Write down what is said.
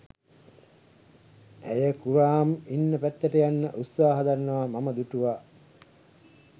ඇය කුරාම් ඉන්න පැත්තට යන්න උත්සාහ දරනවා මම දුටුවා.